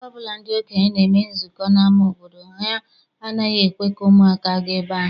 Mgbe ọbụla ndị okenye na-eme nzukọ n'ama obodo, ha anaghị ekwe ka ụmụaka gaa ebe ahụ.